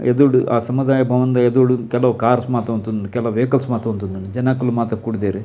ಎದುರುಡು ಆ ಸಮುದಾಯ ಭವನದ ಎದುರುಡು ಕೆಲವು ಕಾರ್ಸ್ ಮಾತ ಉಂತೊಂದುಂಡು ಕೆಲವು ವೈಕಲ್ಸ್ ಮಾತ ಉಂತುದುಂಡು ಜನಕುಲು ಮಾತ ಕೂಡುದೆರ್.